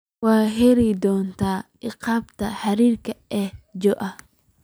waxaad ii heli doontaa aqbaarta xiriirka ee joe